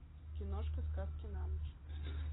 киношка сказки на ночь